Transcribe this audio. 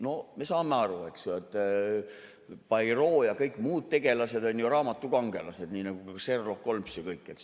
No me saame aru, et Poirot ja kõik muud tegelased on ju raamatukangelased, nii nagu Sherlock Holmes ja kõik.